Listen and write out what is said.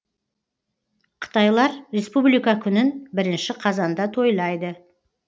қытайлар республика күнін бірінші қазанда тойлайды